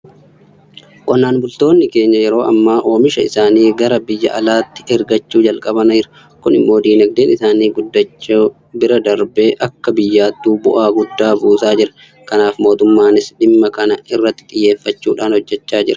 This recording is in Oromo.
Qonnaan bultoonni keenya yeroo ammaa oomisha isaanii gara biyya alaatti ergachuu jalqabaniiru. Kun immoo diinagdeen isaanii guddachuu bira darbee akka biyyaattuu bu'aa guddaa buusaa jira. Kanaaf mootummaanis dhimma kana irratti xiyyeeffachuudhaan hojjechaa jira.